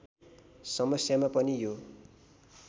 समस्यामा पनि यो